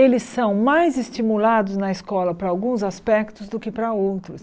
Eles são mais estimulados na escola para alguns aspectos do que para outros.